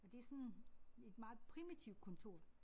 Og det sådan et meget primitivt kontor